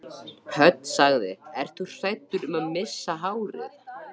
Hödd: Ert þú hræddur um að missa hárið?